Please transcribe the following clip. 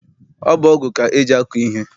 Ọ bụ ọgụ ka eji akọ ihe.